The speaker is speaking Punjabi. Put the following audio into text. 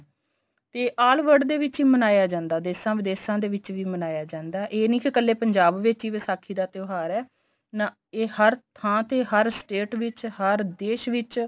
ਤੇ all world ਦੇ ਵਿੱਚ ਮਨਾਇਆ ਜਾਂਦਾ ਦੇਸ਼ਾ ਵਿਦੇਸ਼ਾ ਦੇ ਵਿੱਚ ਵੀ ਮਨਾਇਆ ਜਾਂਦਾ ਇਹ ਨੀ ਕੀ ਕੱਲੇ ਪੰਜਾਬ ਵਿੱਚ ਹੀ ਵਿਸਾਖੀ ਦਾ ਤਿਉਹਾਰ ਏ ਨਾ ਇਹ ਹਰ ਥਾ ਤੇ ਹਰ state ਵਿੱਚ ਹਰ ਦੇਸ਼ ਵਿੱਚ